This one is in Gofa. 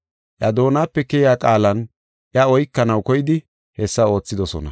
Iya doonape keyiya qaalan iya oykanaw koydi hessa oothidosona.